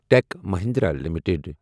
ٹٮ۪ک Mahindra limited